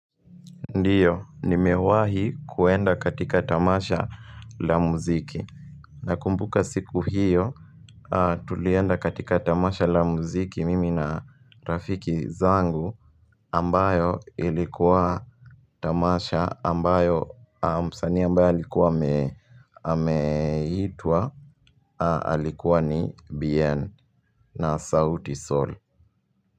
Ndio, nimewahi kuenda katika tamasha la muziki. Nakumbuka siku hiyo, tulienda katika tamasha la muziki mimi na rafiki zangu ambayo ilikuwa tamasha ambayo, msanii ambaye alikuwa ameitwa, alikuwa ni Bien na sauti Sol.